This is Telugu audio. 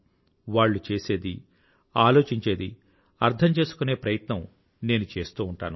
వాళ్ళు చేసేది ఆలోచించేది అర్థం చేసుకునే ప్రయత్నం నేను చేస్తూ ఉంటాను